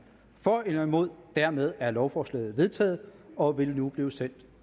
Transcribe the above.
for eller imod stemte dermed er lovforslaget vedtaget og vil nu blive sendt